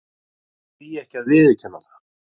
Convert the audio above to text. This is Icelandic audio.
Því ekki að viðurkenna það.